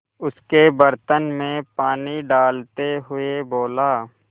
उसके बर्तन में पानी डालते हुए बोला